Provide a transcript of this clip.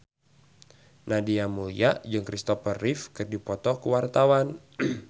Nadia Mulya jeung Kristopher Reeve keur dipoto ku wartawan